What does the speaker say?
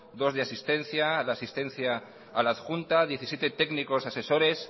dos de asistencia de asistencia a la adjunta diecisiete técnicos asesores